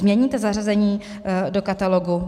Změníte zařazení do katalogu?